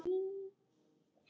Örlög ráðin